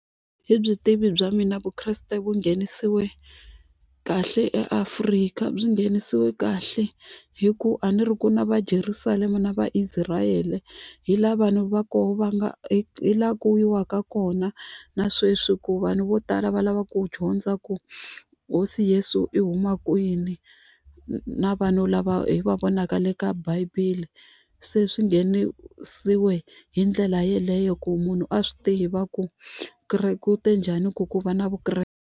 Hi byi tivi bya mina Vukreste vu nghenisiwe kahle eAfrika byi nghenisiwe kahle hi ku a ni ri ku na va Jerusalema na va Israel hi laha vanhu va koho va nga hi laha ku yiwaka kona na sweswi ku vanhu vo tala va lava ku dyondza ku hosi yeso i huma kwini na vanhu lava hi va vonaka le ka bibele se swi nghenisiwe hi ndlela yeleyo ku munhu a swi tiva ku kereke u te njhani ku ku va na Vukreste.